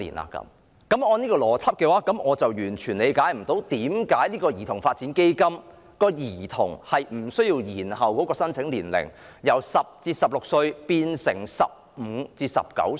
按照這種邏輯，我完全不能理解為何基金無須延後兒童的申請年齡，由10至16歲改為15至19歲。